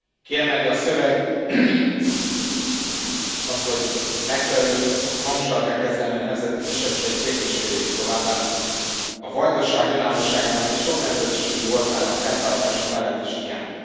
Kiemeli a szöveg azt, hogy megfelelő hangsúllyal kell kezelni a nemzeti kisebbségek kérdéskörét, továbbá a Vajdaság önállóságának és soknemzetiségű voltának fenntartása mellett is kiáll.